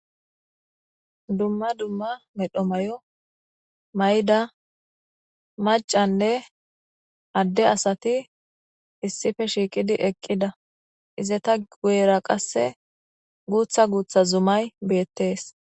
Dumma dumma medho mayo may'da macanne adde asati issife shiiqidi eqqida izata guera qasse guutha guutha zumay beettees